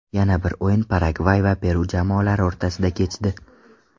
Yana bir o‘yin Paragvay va Peru jamoalari o‘rtasida kechdi.